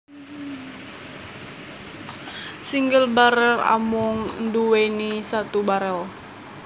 Single barel amung nduweni satu barel